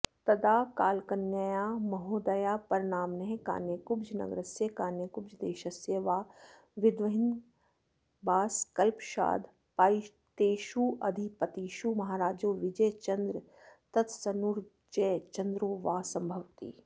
तदा कालकलनया महोदयापरनाम्नः कान्यकुब्जनगरस्य कान्यकुब्जदेशस्य वा विद्वद्विहंगमाबासकल्पषादपायितेष्वधिपतिषु महाराजो बिजयचन्द्रस्तत्सूनुर्जयचन्द्रो वा संभवति